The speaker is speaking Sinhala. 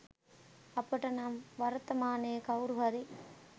අපට නම් වර්තමානයේ කවුරු හරි